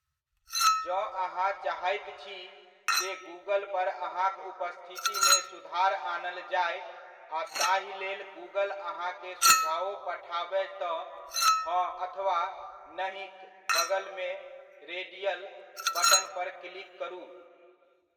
जँ अहाँ चाहैत छी, जे गुगल पर अहाँक उपस्थितिमे सुधार आनल जाय, आ ताहिलेल गुगल अहाँकेँ सुझाओ पठाबय तँ हँ अथवा नहिक बगलमे रेडियल बटन पर क्लिक करू।